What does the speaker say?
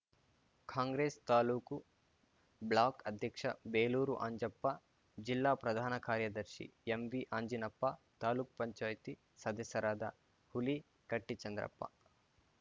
Congress taluk block ಅಧ್ಯಕ್ಷ ಬೇಲೂರು ಅಂಜಪ್ಪ ಜಿಲ್ಲಾ ಪ್ರಧಾನ ಕಾರ್ಯದರ್ಶಿ ಎಂವಿ ಅಂಜಿನಪ್ಪ ತಾಲೂಕು ಪಂಚಾಯತಿ ಸದಸ್ಯರಾದ ಹುಲಿಕಟ್ಟಿಚಂದ್ರಪ್ಪ